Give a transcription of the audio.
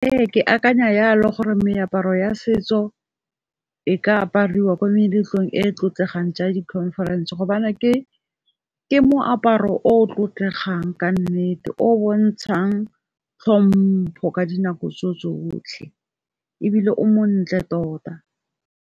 Ee ke akanya yalo gore meaparo ya setso e ka apariwa ko meletlong e tlotlegang jaaka di khonferense gobane ke moaparo o tlotlegang ka nnete, o bontshang tlhompho ka dinako tsotlhe ebile o montle tota.